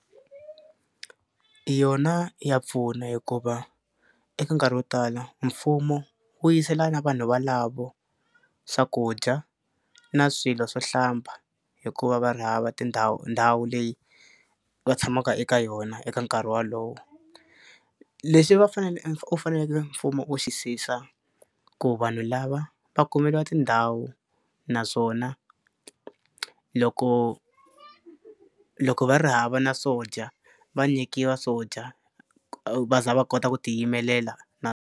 Yona ya pfuna hikuva eka nkarhi wo tala mfumo wu yisela na vanhu valavo swakudya na swilo swo hlamba hikuva va ri hava tindhawu ndhawu leyi va tshamaka eka yona eka nkarhi wolowo. Leswi va u faneleke mfumo wu ku vanhu lava va kumeliwa tindhawu naswona loko loko va ri hava na swo dya va nyikiwa swo dya va za va kota ku ti yimelela .